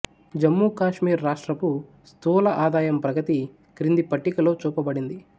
జమ్మూకాశ్మీర్ రాష్ట్రపు స్థూల ఆదాయం ప్రగతి క్రింది పట్టికలో చూపబడింది